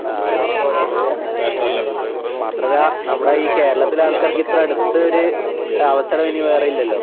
ആഹ് അതെ. മാത്രല്ല നമ്മടെയീ കേരത്തിലെയാൾക്കാർക്കിത്രടുത്ത് ഒര് അവസരവിനി വേറെയില്ലല്ലോ.